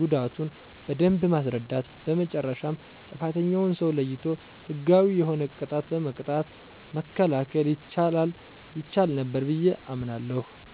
ጉዳቱን በደንብ ማስረዳት በመጨረሻም ጥፋተኛውን ሰው ለይቶ ህጋዊ የሆነ ቅጣት በመቅጣት መከላከል ይቻል ነበር ብየ አምናለሁ።